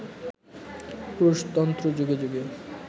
পুরুষতন্ত্র যুগে যুগে